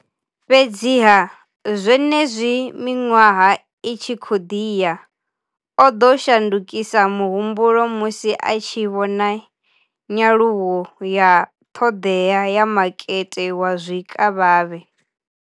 Fhedziha, zwenezwi miṅwaha i tshi khou ḓi ya, o ḓo shandukisa muhumbulo musi a tshi vhona nyaluwo ya ṱhoḓea ya makete wa zwikavhavhe.